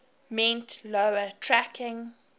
meant lower tracking